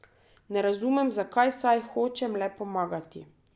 Ne razumem, zakaj, saj hočem le pomagati.